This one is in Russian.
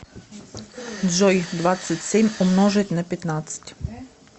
джой двадцать семь умножить на пятнадцать